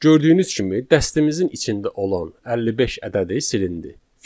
Gördüyünüz kimi, dəstəmizin içində olan 55 ədədi silindi.